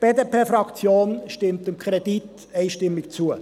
Die BDP-Fraktion stimmt dem Kredit einstimmig zu.